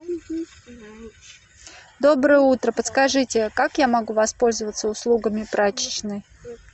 доброе утро подскажите как я могу воспользоваться услугами прачечной